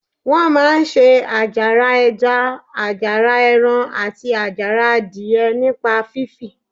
Wọ́n máa ń se àjàrà ẹja, àjàrà ẹran, àti àjàrà adìyẹ nípa fífi